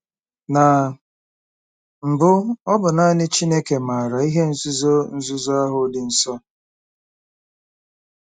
Na mbụ, ọ bụ naanị Chineke maara “ihe nzuzo nzuzo ahụ dị nsọ.”